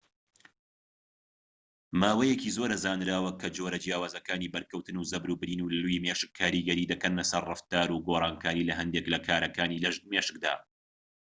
ماوەیەکی زۆرە زانراوە کە جۆرە جیاوازەکانی بەرکەوتن و زەبر و برین و لووی مێشك کاریگەری دەکەن سەر ڕەفتار و گۆرانکاری لە هەندێك لە کارەکانی مێشكدا